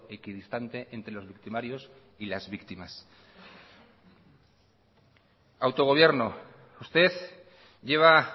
equidistante entre los victimarios y las víctimas autogobierno usted lleva